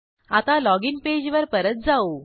आता लॉगिन पेजवर परत जाऊ